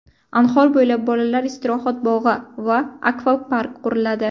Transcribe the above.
Anhor bo‘ylab Bolalar istirohat bog‘i va Akvapark quriladi.